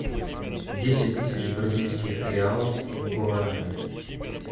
десять тысяч бразильских реалов в гуарани